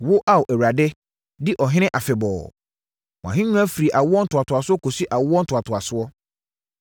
Wo, Ao Awurade, di ɔhene afebɔɔ; wʼahennwa firi awoɔ ntoatoasoɔ kɔsi awoɔ ntoatoasoɔ.